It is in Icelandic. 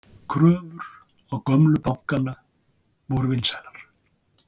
Kröfur á gömlu bankana vinsælar